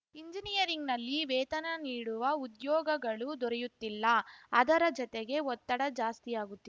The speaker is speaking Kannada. ಎಂಜಿನಿಯರಿಂಗ್‌ನಲ್ಲಿ ವೇತನ ನೀಡುವ ಉದ್ಯೋಗಗಳು ದೊರೆಯುತ್ತಿಲ್ಲ ಅದರ ಜತೆಗೆ ಒತ್ತಡ ಜಾಸ್ತಿಯಾಗುತ್ತಿ